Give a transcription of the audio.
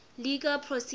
legal procedure